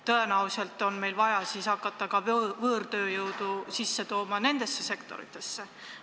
Tõenäoliselt on meil vaja hakata võõrtööjõudu ka nendesse sektoritesse tooma.